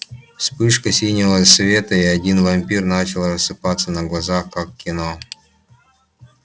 вспышка синего света и один вампир начал рассыпаться на глазах как в кино